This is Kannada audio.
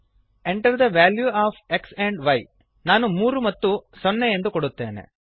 Enter the value of x and y ನಾನು 3 ಮತ್ತು 0 ಎಂದು ಕೊಡುತ್ತೇನೆ